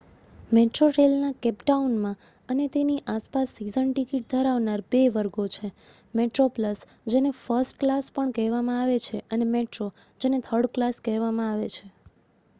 મેટ્રોરેઇલના Cape ટાઉનમાં અને તેની આસપાસ સીઝન ટિકિટ ધરાવનાર બે વર્ગો છે: મેટ્રોપ્લસ જેને ફર્સ્ટ ક્લાસ પણ કહેવામાં આવે છે અને મેટ્રો જેને થર્ડ ક્લાસ કહેવામાં આવે છે